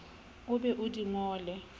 o be o di ngole